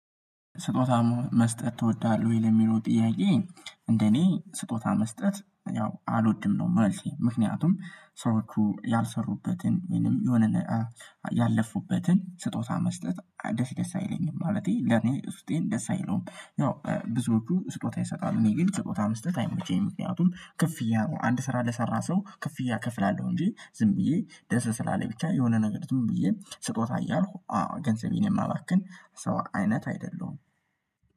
ስጦታ መስጠት ትወዳለህ ወይ ለሚለው ጥያዬ? እንደኔ ስጦታ መስጠት ያው አልወድም ነው መልሴ ምክንያቱም ሰዎቹ ያልሰሩበትን ወይንም የሆነ ያለፉበትን ስጦታ መስጠት ደስ ደስ አይለኝም ማለቴ ለኔ ውስጤን ደስ አይለዉም። ያው ብዙዎቹ ስጦታ ይሰጣሉ እኔ ግን ስጦታ መስጠት አይመቸኝም። ምክንያቱም ክፍያ ነው አንድ ስራ ለሰራ ሰው ክፍያ እከፍላለሁ እንጂ ዝም ብዬ ደስ ስላለኝ ብቻ የሆነ ነገር ብዬ ስጦታ እያልኩ ገንዘቤን የማባክን ሰው አይነት አይደለሁም።